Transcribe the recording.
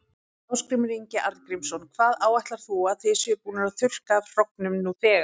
Ásgrímur Ingi Arngrímsson: Hvað áætlarðu að þið séuð búnir að þurrka af hrognum nú þegar?